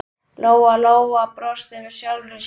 Lóa-Lóa brosti með sjálfri sér.